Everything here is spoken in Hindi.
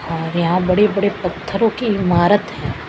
और यहां बड़े बड़े पत्थरों की इमारत है।